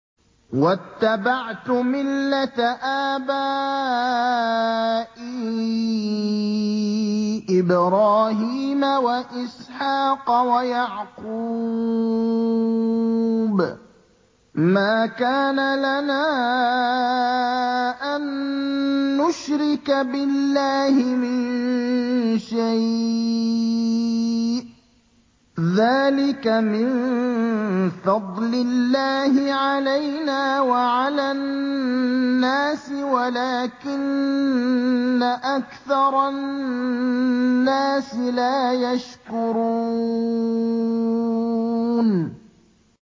وَاتَّبَعْتُ مِلَّةَ آبَائِي إِبْرَاهِيمَ وَإِسْحَاقَ وَيَعْقُوبَ ۚ مَا كَانَ لَنَا أَن نُّشْرِكَ بِاللَّهِ مِن شَيْءٍ ۚ ذَٰلِكَ مِن فَضْلِ اللَّهِ عَلَيْنَا وَعَلَى النَّاسِ وَلَٰكِنَّ أَكْثَرَ النَّاسِ لَا يَشْكُرُونَ